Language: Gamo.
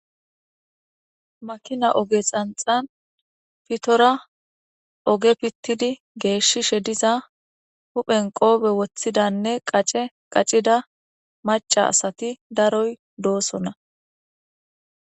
Makina oge xanxan pitora oge pitid geshishe diza huphen qope wothidane qace qacida maca asati daroy dosona